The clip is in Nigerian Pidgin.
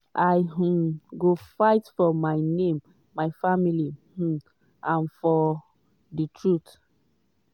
i um go fight for my name my family um and ofr di truth."